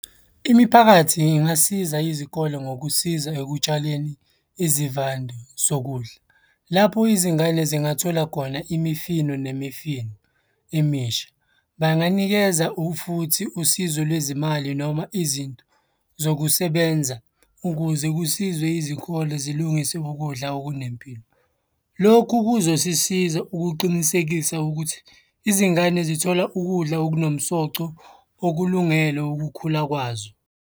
Imiphakathi ingasiza izikole ngokusiza ekutshaleni izivande zokudla. Lapho izingane zingathola khona imifino nemifino emisha. Banganikeza futhi usizo lwezimali noma izinto zokusebenza ukuze kusizwe izikole zilungise ukudla okunempilo. Lokhu kuzosisiza ukuqinisekisa ukuthi izingane zithola ukudla okunomsoco okulungelwe ukukhula kwazo.